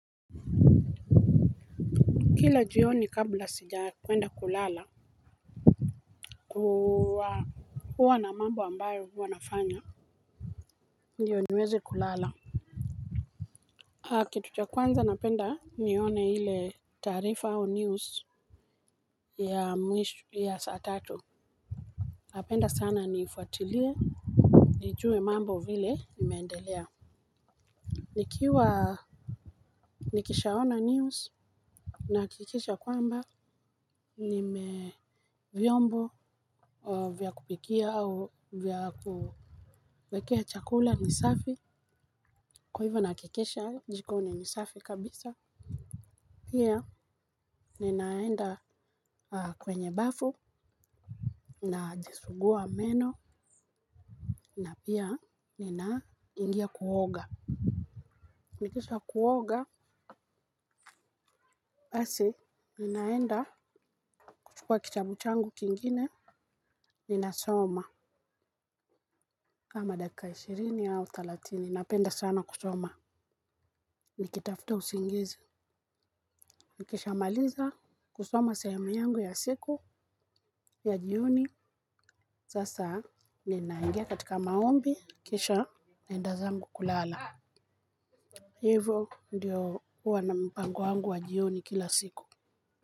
Kila jioni kabla sijakwenda kulala huwa na mambo ambayo huwa nafanya. Ndiyo niweze kulala kitu cha kwanza napenda nione ile taarifa au news ya saa tatu. Napenda sana niifuatilie nijue mambo vile imeendelea. Nikiwa nikishaona news nahakikisha kwamba vyombo vya kupikia au vya kuwekea chakula ni safi. Kwa hivyo nahakikisha jikoni ni safi kabisa. Pia ninaenda kwenye bafu najisugua meno na pia ninaingia kuoga. Nikisha kuoga basi ninaenda kuchukua kitabu changu kingine ninasoma kama dakika ishirini au thelathini napenda sana kusoma. Nikitafuta usingizi nikishamaliza kusoma sehemu yangu ya siku ya jioni. Sasa ninaingia katika maombi kisha naenda zangu kulala. Hivyo ndiyo huwa na mpango wangu wa jioni kila siku.